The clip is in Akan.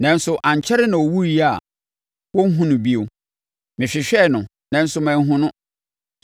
nanso ankyɛre na ɛwuiɛ a wɔnhunu no bio; mehwehwɛɛ no, nanso manhunu no.